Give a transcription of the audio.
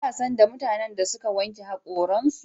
Da sanda mutanen da suka wanke hakoran su